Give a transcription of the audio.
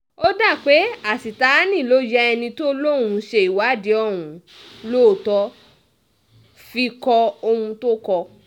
ó jọ pé asítáàní ló ya ẹni tó lóun ṣe ìwádìí ọ̀hún ló tó fi kọ ohun tó kọ